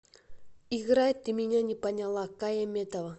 играй ты меня не поняла кая метова